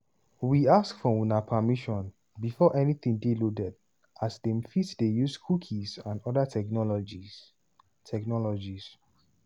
we ask for una permission before anytin dey loaded as dem fit dey use cookies and oda technologies. technologies.